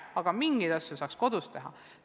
Aga mingeid asju saaks ka kodus teha.